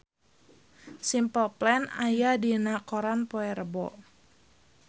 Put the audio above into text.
Simple Plan aya dina koran poe Rebo